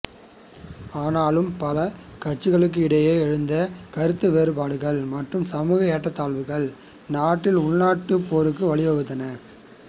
ஆனாலும் பல கட்சிகளுக்கும் இடையில் எழுந்த கருத்து வேறுபாடுகள் மற்றும் சமூக ஏற்றத்தாழ்வுகள் நாட்டில் உள்நாட்டுப் போருக்கு வழிவகுத்தன